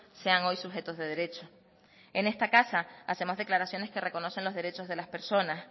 sean hoy sujetos de derecho en esta casa hacemos declaraciones que reconocen los derechos de las personas